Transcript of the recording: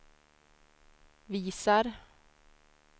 visar